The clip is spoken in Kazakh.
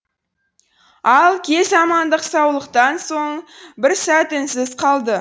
ал кез амандық саулықтан соң бір сәт үнсіз қалды